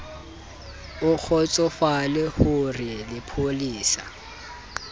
o kgotsofale ho re lepolesa